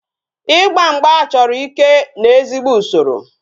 Igba mgba chọrọ ike na ezigbo usoro